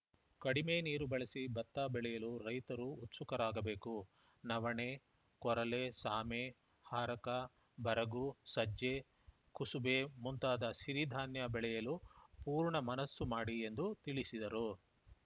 ಕಡಿಮೆ ನೀರು ಬಳಸಿ ಭತ್ತ ಬೆಳೆಯಲು ರೈತರು ಉತ್ಸುಕರಾಗಬೇಕು ನವಣೆ ಕೊರಲೆ ಸಾಮೆ ಹಾರಕ ಬರಗು ಸಜ್ಜೆಕುಸುಬೆ ಮುಂತಾದ ಸಿರಿ ಧಾನ್ಯ ಬೆಳೆಯಲು ಪೂರ್ಣ ಮನಸ್ಸು ಮಾಡಿ ಎಂದು ತಿಳಿಸಿದರು